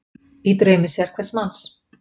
Í draumi sérhvers manns